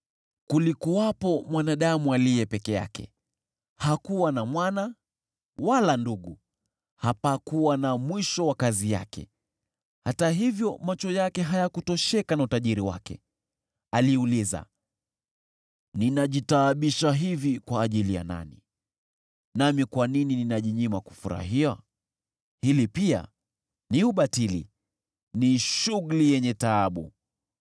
Kulikuwepo mwanadamu aliye peke yake, hakuwa na mwana wala ndugu. Hapakuwa na mwisho wa kazi yake, hata hivyo macho yake hayakutosheka na utajiri wake. Aliuliza, “Ninajitaabisha hivi kwa ajili ya nani, nami kwa nini ninajinyima kufurahia?” Hili pia ni ubatili, ni shughuli yenye taabu!